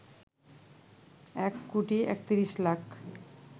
১ কোটি ৩১ লাখ